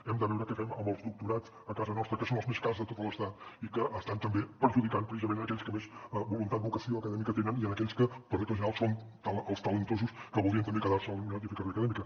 hem de veure què fem amb els doctorats a casa nostra que són els més cars de tot l’estat i que estan també perjudicant precisament aquells que més voluntat vocació acadèmica tenen i aquells que per regla general són els talentosos que voldrien també quedar se a la universitat i fer carrera acadèmica